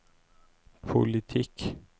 politikk